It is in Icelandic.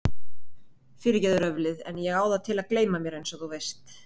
Fyrirgefðu röflið en ég á það til að gleyma mér einsog þú veist.